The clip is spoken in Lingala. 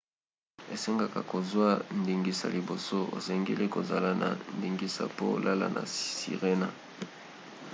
esengaka kozwa ndingisa liboso. osengeli kozala na ndingisa po olala na sirena